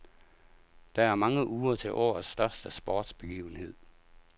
Der er mange uger til årets største sportsbegivenhed.